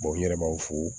n yɛrɛ b'aw fo